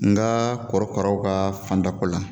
Nkaa kɔrɔkaraw kaa fanda ko la